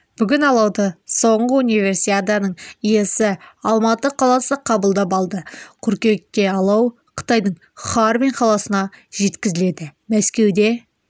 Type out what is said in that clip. бүгін алауды соңғы универсиаданың иесі алматы қаласы қабылдап алды қыркүйекте алау қытайдың харбин қаласына жеткізіледі мәскеуде